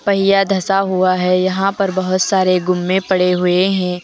यह धसा हुआ है यहां पर बहोत सारे गुम्मे पड़े हुए हैं।